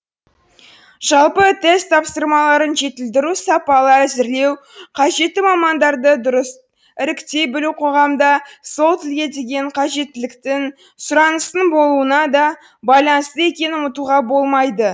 жалпы тест тапсырмаларын жетілдіру сапалы әзірлеу қажетті мамандарды дұрыс іріктей білу қоғамда сол тілге деген қажеттіліктің сұраныстың болуына да байланысты екенін ұмытуға болмайды